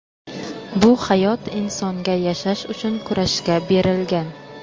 Bu hayot insonga yashash uchun kurashga berilgan.